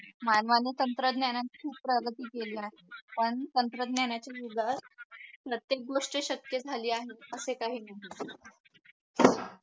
मानवाने तंत्रज्ञानात खूप प्रगती केली आहे पण तंत्रज्ञानाचे प्रत्येक गोष्ट शक्य झालेली आहे असे काही नाही